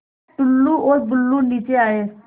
टुल्लु और बुल्लु नीचे आए